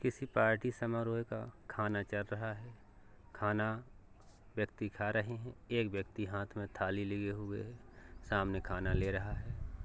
किसी पार्टी समारोह का खाना चल रहा है खाना व्यक्ति खा रहे हैं। एक व्यक्ति हाथ में थाली लिए हुए है सामने खाना ले रहा है।